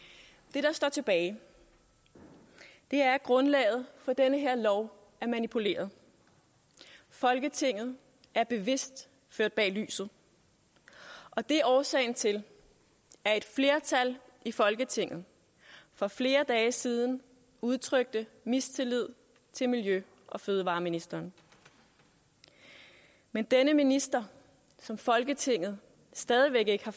det der står tilbage er at grundlaget for den her lov er manipuleret folketinget er bevidst ført bag lyset og det er årsagen til at et flertal i folketinget for flere dage siden udtrykte mistillid til miljø og fødevareministeren men denne minister som folketinget stadig væk ikke har